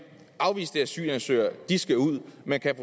at afviste asylansøgere skal ud men kan